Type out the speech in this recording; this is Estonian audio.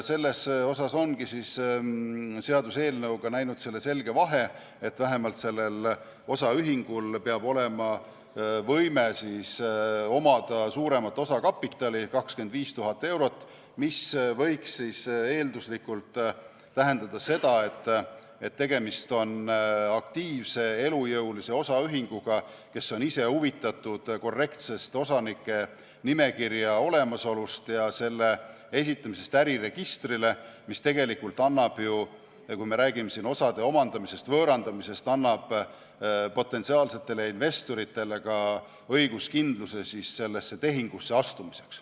Seal ongi seaduseelnõu näinud ette selge vahe, et vähemalt sellel osaühingul peab olema võime omada suuremat osakapitali, 25 000 eurot, mis võiks eelduslikult tähendada seda, et tegemist on aktiivse, elujõulise osaühinguga, kes on ise huvitatud korrektsest osanike nimekirja olemasolust ja selle esitamisest äriregistrile, mis tegelikult annab ju potentsiaalsetele investoritele õiguskindluse sellesse tehingusse astumiseks.